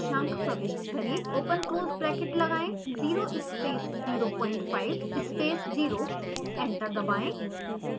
open close bracket लगाएं 0 space 05 space 0 enter दबाएं